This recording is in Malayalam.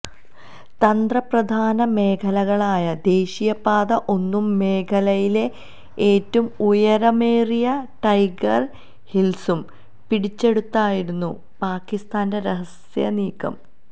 തന്ത്രപ്രധാന മേഖലകളായ ദേശീയപാത ഒന്നും മേഖലയിലെ ഏറ്റവും ഉയരമേറിയ ടൈഗര് ഹില്സും പിടിച്ചെടുത്തായിരുന്നു പാകിസ്ഥാന്റെ രഹസ്യനീക്കം